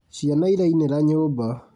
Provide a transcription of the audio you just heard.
Ciana irainĩra nyũmba